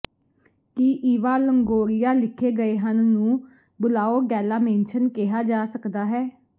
ਕੀ Eva Longoria ਲਿਖੇ ਗਏ ਹਨ ਨੂੰ ਬੁਲਾਓਡੈੱਲਾਮੇਂਸ਼ਨ ਕਿਹਾ ਜਾ ਸਕਦਾ ਹੈ